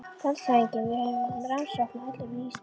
LANDSHÖFÐINGI: Við hefjum gagnsókn á öllum vígstöðvum.